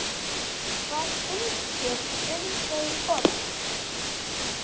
Hvað finnst þér um þau orð?